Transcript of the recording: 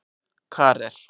Karel